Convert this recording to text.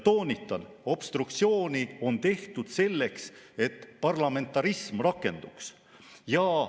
Toonitan: obstruktsiooni on tehtud selleks, et parlamentarism rakenduks.